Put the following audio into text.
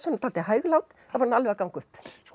dálítið hæglát þá var hún alveg að ganga upp